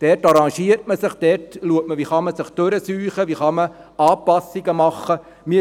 Dort arrangiert man sich, man schaut, wie man sich durchschlagen und Anpassungen vornehmen kann.